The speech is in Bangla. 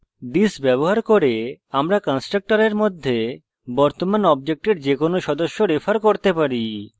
this ব্যবহার করে আমরা কন্সট্রকটরের মধ্যে বর্তমান অবজেক্টের যেকোনো সদস্য refer করতে পারি